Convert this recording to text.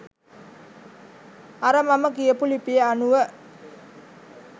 අර මම කියපු ලිපිය අනුව